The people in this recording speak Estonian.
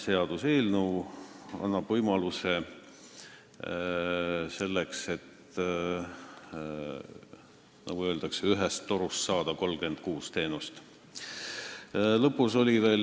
See annab võimaluse saada ühest torust 36 teenust, nagu öeldakse.